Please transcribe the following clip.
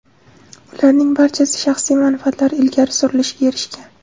Ularning barchasi shaxsiy manfaatlar ilgari surilishiga erishgan.